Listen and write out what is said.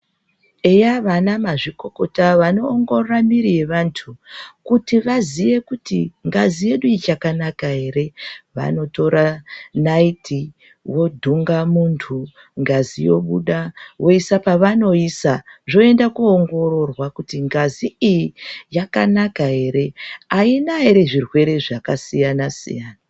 Eya vana mazvikokota vanoongorora miri yevantu kuti vaziye kuti ngazi ichakanaka ere, vanotora naiti vodhunga muntu ngazi yobuda voisa pevanoisa zvoenda koongororwa kuti ngazi iyi yakanaka ere aina ere zvirwere zvakasiyana-siyana.